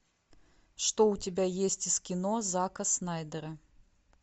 что у тебя есть из кино зака снайдера